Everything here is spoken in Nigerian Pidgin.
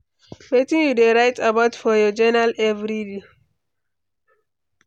Wetin you dey write about for your journal every day?